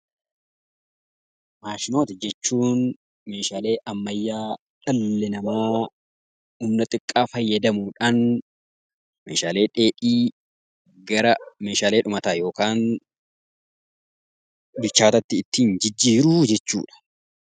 Maashinoota jechuun meeshaalee ammayyaa dhalli namaa humna xiqqaa fayyadamuudhaan, meeshaalee dheedhii gara meeshaalee dhumataa yookaan gitaara ittiin jijjiiruu jechuudha.